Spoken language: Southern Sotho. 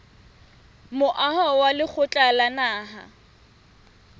moaho wa lekgotla la naha